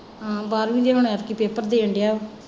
ਹਾਂ ਬਾਹਰਵੀਂ ਦੇ ਹੁਣ ਐਦਕੀ ਪੇਪਰ ਦੇਣ ਡੇਆ।